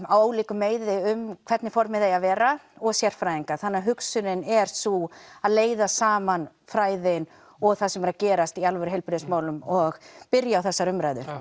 á ólíku meiði um hvernig formið eigi að vera og sérfræðingar þannig að hugsunin er sú að leiða saman fræðin og það sem er að gerast í alvöru heilbrigðismálum og byrja á þessari umræðu já